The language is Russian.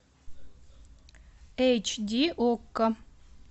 эйч ди окко